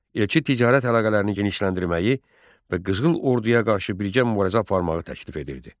Elçi ticarət əlaqələrini genişləndirməyi və qızıl orduya qarşı birgə mübarizə aparmağı təklif edirdi.